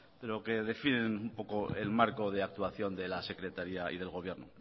pero que definen un poco el marco de actuación de la secretaría y del gobierno